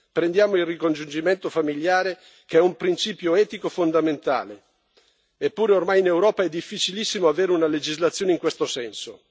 Prendiamo il ricongiungimento familiare, che è un principio etico fondamentale, eppure ormai in Europa è difficilissimo avere una legislazione in questo senso.